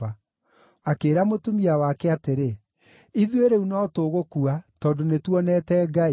Akĩĩra mũtumia wake atĩrĩ, “Ithuĩ rĩu no tũgũkua, tondũ nĩtuonete Ngai!”